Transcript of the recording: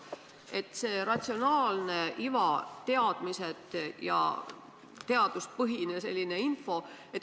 See on see ratsionaalne iva, teadmised ja teaduspõhine info.